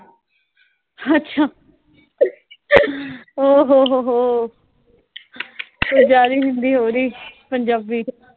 ਅੱਛਾ ਉਹ ਹੋ ਹੋ ਹੋ ਕੁਸ਼ ਜ਼ਿਆਦਾ ਈ ਹਿੰਦੀ ਹੋ ਰਈ, ਪੰਜਾਬੀ ਸਚ।